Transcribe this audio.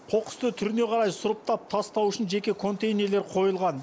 қоқысты түріне қарай сұрыптап тастау үшін жеке контейнерлер қойылған